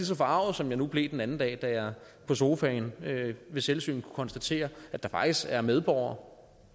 så forarget som jeg nu blev det den anden dag da jeg på sofaen ved selvsyn konstatere at der faktisk er medborgere